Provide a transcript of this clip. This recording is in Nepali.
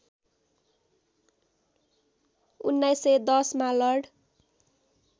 १९१० मा लर्ड